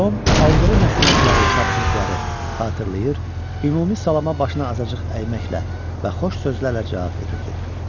Tom aldığı nəsihətləri, tapşırıqları xatırlayır, ümumi salama başını azacıq əyməklə və xoş sözlərlə cavab verirdi.